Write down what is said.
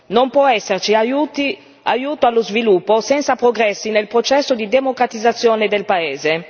Non può esserci aiuto allo sviluppo senza progressi nel processo di democratizzazione del paese.